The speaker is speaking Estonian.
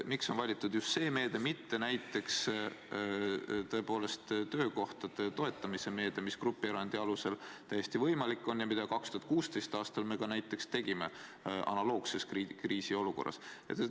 Miks on valitud just see meede, mitte näiteks töökohtade toetamise meede, mida grupierandi alusel oleks täiesti võimalik rakendada ja mida me 2016. aastal analoogses kriisiolukorras ka tegime?